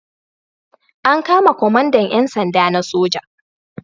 An kama kwamandan 'yan sanda na soja.